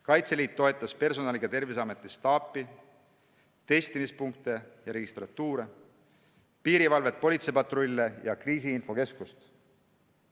Kaitseliit toetas personaliga Terviseameti staapi, testimispunkte ja registratuure, piirivalvet, politseipatrulle ja kriisiinfokeskust.